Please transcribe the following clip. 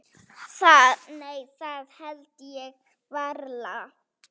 Nei það held ég varla.